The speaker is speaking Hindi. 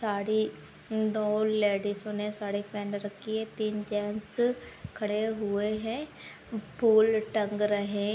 साड़ी दो लेडिजो ने साड़ी पहन रखी है तीन जेन्टस खड़े हुए है पुल टंग रहे --